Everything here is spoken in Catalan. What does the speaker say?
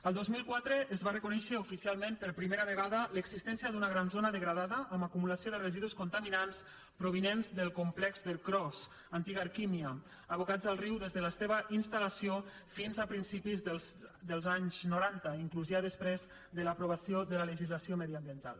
el dos mil quatre es va reconèixer oficialment per primera vegada l’existència d’una gran zona degradada amb acumulació de residus contaminants provinents del complex d’ercros antiga erkimia abocats al riu des de la seva instal·lació fins a principis dels anys noranta inclús ja després de l’aprovació de la legislació mediambiental